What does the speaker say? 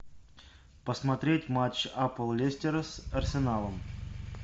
посмотреть матч апл лестера с арсеналом